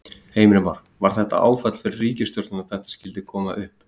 Heimir Már: Var þetta áfall fyrir ríkisstjórnina að þetta skyldi koma upp?